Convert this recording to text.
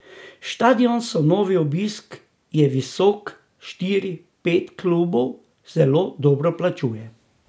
Štadioni so novi, obisk je visok, štiri, pet klubov zelo dobro plačuje.